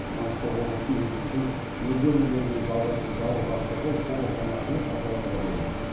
маңғыстау облысын еліміздің өзге өңірлерімен жалғайтын жалғыз автожол толық жаңартылып пайдалануға берілді